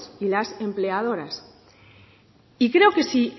y las empleadoras y creo que si